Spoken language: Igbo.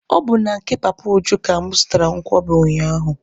Ọ bụ na nke Papa Uju ka mụ zụtaara nkwobi ụnyaahụ.